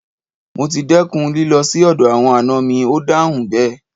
Mo ti dẹ́kun lílọ sì ọ̀dọ̀ àwọn àna mi, Ó dáhùn bẹ́ẹ̀.